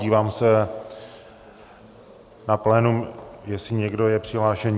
Dívám se na plénum, jestli někdo je přihlášen.